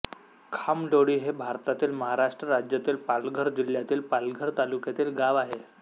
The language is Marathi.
खामलोळी हे भारतातील महाराष्ट्र राज्यातील पालघर जिल्ह्यातील पालघर तालुक्यातील गाव आहे